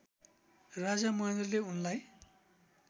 राजा महेन्द्रले उनलाई